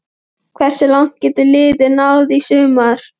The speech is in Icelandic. Hversu langt getur liðið náð í sumar?